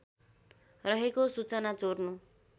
रहेको सूचना चोर्नु